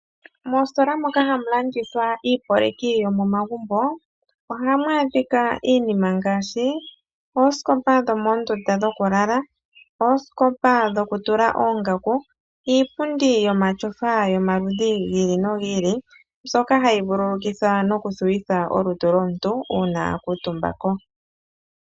Moostola moka hamu landithwa iipoleki yomomagumbo, ohamwaadhika iinima ngaashi ooskopa dhomoondunda dhoku lala, ooskopa dhoku tula oongaku, iipundi yomatyofa yomaludhi giili nogiili mbyoka hayi vululukitha noku thuwitha olutu lomuntu uuna a kuutumba ko.